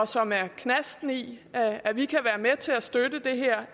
som er knasten i at vi kan være med til at støtte det her